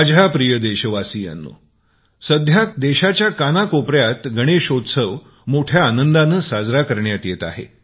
माझ्या प्रिय देशवासियांनो सध्या देशाच्या कानाकोपऱ्यात गणेशचतुर्थी मोठ्या आनंदाने साजरी करण्यात येत आहे